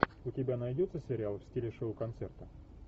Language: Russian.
у тебя найдется сериал в стиле шоу концерта